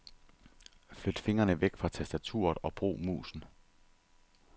Flyt fingrene væk fra tastaturet og brug musen.